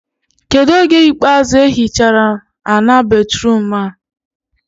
Kedụ oge ikpeazụ ehi chara ana batruum a?